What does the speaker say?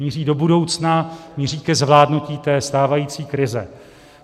Míří do budoucna, míří ke zvládnutí té stávající krize.